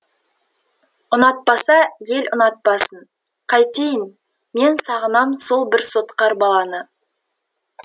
ұнатпаса ел ұнатпасын қайтейін мен сағынам сол бір сотқар баланы